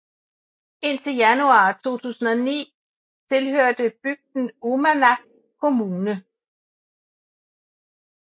Indtil januar 2009 tilhørte bygden Uummannaq Kommune